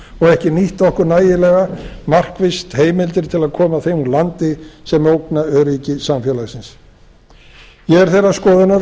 og ekki nýtt okkur nægilega markvisst heimildir til að koma þeim úr landi sem ógna öryggi samfélagsins ég er þeirra skoðunar að